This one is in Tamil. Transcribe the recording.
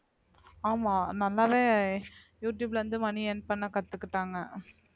ஆமா யூடுயூப்ல இருந்து மணி earn பண்ண கத்துக்கிட்டாங்க